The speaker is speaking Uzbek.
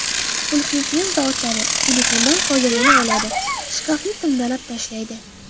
Qulfni tezda ochadi, telefondan foydalana oladi, shkafni timdalab tashlaydi.